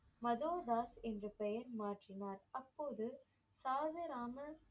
மதோதாஸ் என்று பெயர் மாற்றினார் அப்போது சாதுராமன்